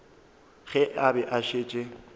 ge a be a šetše